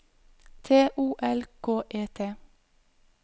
T O L K E T